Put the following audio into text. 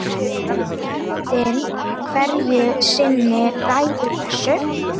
Nefndin hverju sinni ræður þessu.